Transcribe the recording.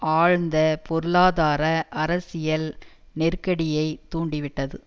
ஆழ்ந்த பொருளாதார அரசியல் நெருக்கடியை தூண்டிவிட்டது